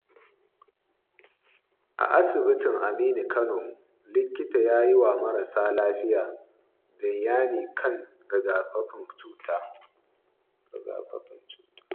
A asibitin Aminu Kano, likita ya yi wa marasa lafiya bayani kan rigakafin cuta.